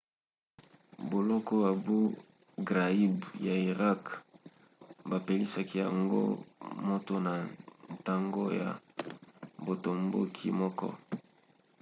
boloko abou ghraib ya irak bapelisaki yango moto na ntango ya botomboki moko